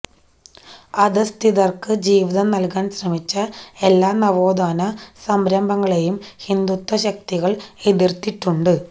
അധഃസ്ഥിതര്ക്ക് ജീവിതം നല്കാന് ശ്രമിച്ച എല്ലാ നവോത്ഥാന സംരംഭങ്ങളെയും ഹിന്ദുത്വ ശക്തികള് എതിര്ത്തിട്ടുണ്ട്